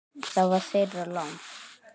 Það var þeirra lán.